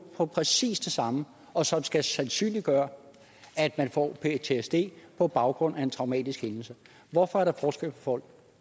for præcis det samme og som skal sandsynliggøre at man får ptsd på baggrund af en traumatisk hændelse hvorfor er der forskel på folk